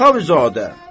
Əxavüzadə!